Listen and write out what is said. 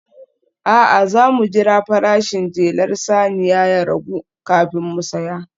A'a, za mu jira farashin jelar saniya ya ragu kafin mu saya